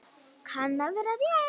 Kann að vera rétt.